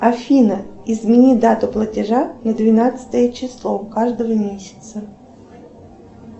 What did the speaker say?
афина измени дату платежа на двенадцатое число каждого месяца